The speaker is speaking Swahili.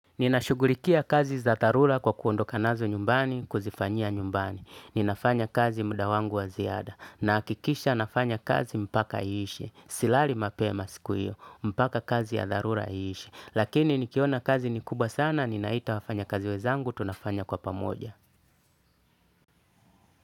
Ninashughulikia kazi za dharula kwa kuondoka nazo nyumbani, kuzifanyia nyumbani. Ninafanya kazi muda wangu wa ziada. Na hakikisha nafanya kazi mpaka iishe. Si lali mapema siku iyo. Mpaka kazi ya tharula iishe. Lakini nikiona kazi ni kubwa sana, ninaita wafanya kazi wenzangu, tunafanya kwa pamoja.